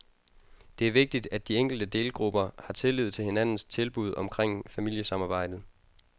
Det er vigtig, at de enkelte delgrupper har tillid til hinandens tilbud omkring familiesamarbejdet.